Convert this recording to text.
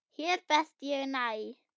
Hér best ég næ.